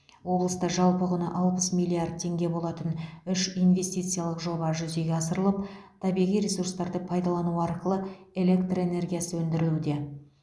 облыста жалпы құны алпыс миллиард теңге болатын үш инвестициялық жоба жүзеге асырылып табиғи ресурстарды пайдалану арқылы электр энергиясы өндірілуде